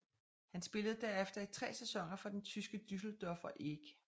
Han spillede derefter i tre sæsoner for den tyske Düsseldorfer EG